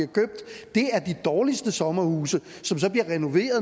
dårligste sommerhuse som så